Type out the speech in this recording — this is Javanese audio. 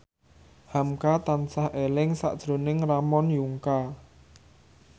hamka tansah eling sakjroning Ramon Yungka